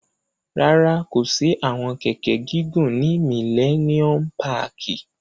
Rárá, ko si awọn kẹkẹ gigun ni Milleniom pààki